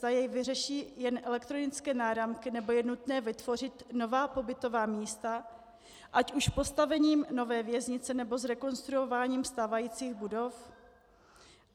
Zda jej vyřeší jen elektronické náramky, nebo je nutné vytvořit nová pobytová místa, ať už postavením nové věznice, nebo zrekonstruováním stávájících budov?